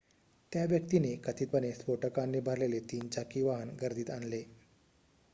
त्या व्यक्तीने कथितपणे स्फोटकांनी भरलेले 3-चाकी वाहन गर्दीत आणले